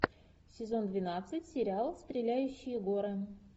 сезон двенадцать сериал стреляющие горы